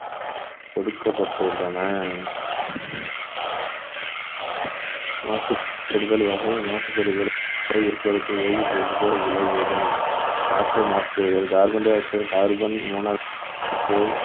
கொடுக்கப்பட்டுள்ளன மாசுபடுதல் வகை மாசுபடுதல் வேதிப்பொருட்கள் விளைவுகள் காற்று மாசுபடுதல் carbon dioxide, carbon monoxide